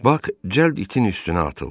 Bak cəld itin üstünə atıldı.